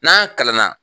N'an kalanna